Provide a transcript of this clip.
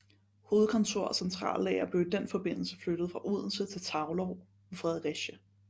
Hovedkontor og centrallager blev i den forbindelse flyttet fra Odense til Taulov ved Fredericia